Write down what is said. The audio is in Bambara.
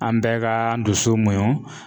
An bɛɛ ka an dusu muɲu.